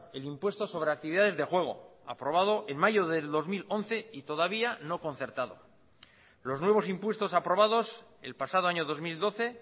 el impuesto sobre actividades de juego aprobado en mayo del dos mil once y todavía no concertado los nuevos impuestos aprobados el pasado año dos mil doce